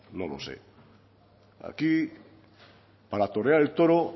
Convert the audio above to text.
no lo sé aquí para torear el toro